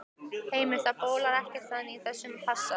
Heimir, það bólar ekkert enn á þessum passa?